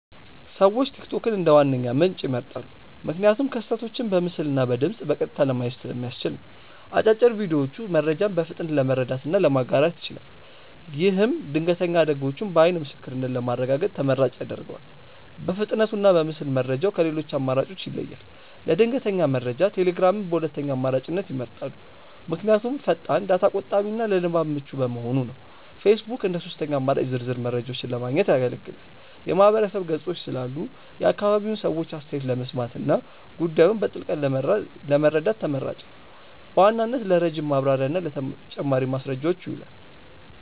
ሰዎች ቲክቶክን እንደ ዋነኛ ምንጭ ይመርጣሉ። ምክንያቱም ክስተቶችን በምስልና በድምፅ በቀጥታ ለማየት ስለሚያስችል ነው። አጫጭር ቪዲዮዎቹ መረጃን በፍጥነት ለመረዳትና ለማጋራት ይችላል። ይህም ድንገተኛ አደጋዎችን በዓይን ምስክርነት ለማረጋገጥ ተመራጭ ያደርገዋል። በፍጥነቱና በምስል መረጃው ከሌሎች አማራጮች ይለያል። ለድንገተኛ መረጃ ቴሌግራምን በሁለተኛ አማራጭነት ይመርጣሉ። ምክንያቱም ፈጣን፣ ዳታ ቆጣቢና ለንባብ ምቹ በመሆኑ ነው። ፌስቡክ እንደ ሦስተኛ አማራጭ ዝርዝር መረጃዎችን ለማግኘት ያገለግላል። የማህበረሰብ ገጾች ስላሉ የአካባቢውን ሰዎች አስተያየት ለመስማትና ጉዳዩን በጥልቀት ለመረዳት ተመራጭ ነው። በዋናነት ለረጅም ማብራሪያና ለተጨማሪ ማስረጃዎች ይውላል።